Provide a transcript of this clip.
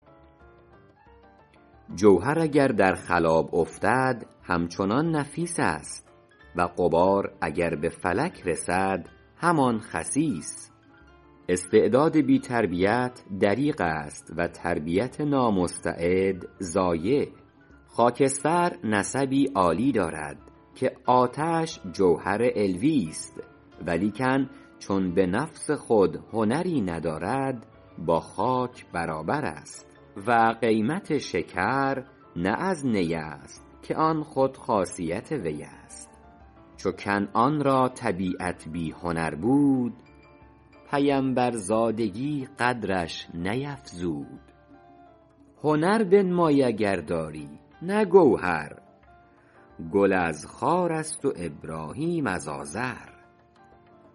جوهر اگر در خلاب افتد همچنان نفیس است و غبار اگر به فلک رسد همان خسیس استعداد بی تربیت دریغ است و تربیت نامستعد ضایع خاکستر نسبی عالی دارد که آتش جوهر علویست ولیکن چون به نفس خود هنری ندارد با خاک برابر است و قیمت شکر نه از نی است که آن خود خاصیت وی است چو کنعان را طبیعت بی هنر بود پیمبرزادگی قدرش نیفزود هنر بنمای اگر داری نه گوهر گل از خار است و ابراهیم از آزر